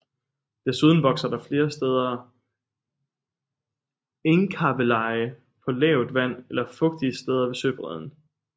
Desuden vokser der flere steder engkabbeleje på lavt vand eller fugtige steder ved søbredden